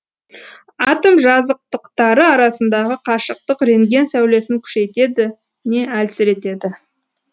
атом жазықтықтары арасындағы қашықтық рентген сәулесін күшейтеді не әлсіретеді